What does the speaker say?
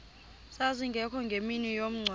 zazingekho ngemini yomngcwabo